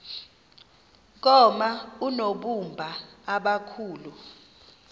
koma oonobumba abakhulu